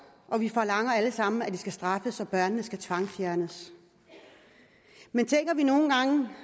og vi forlanger alle sammen at de skyldige skal straffes og børnene skal tvangsfjernes men tænker vi nogle gange